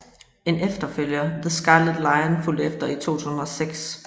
En efterfølger The Scarlet Lion fulgte efter i 2006